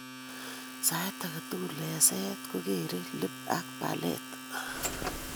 Saait agetugul eng'seet kokeree lip ak palate